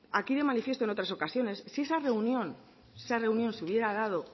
aquí de manifiesto en otras ocasiones si esa reunión se hubiera dado